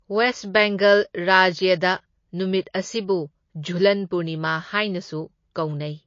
West Bengal ꯔꯥꯖ꯭ꯌꯗ ꯅꯨꯃꯤꯠ ꯑꯁꯤꯕꯨ ꯓꯨꯂꯟ ꯄꯨꯔꯅꯤꯃꯥ ꯍꯥꯢꯅꯁꯨ ꯀꯧꯅꯩ꯫